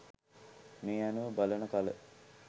මේ අනුව බලන කල